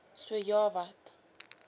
so ja wat